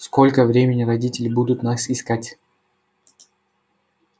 сколько времени родители будут нас искать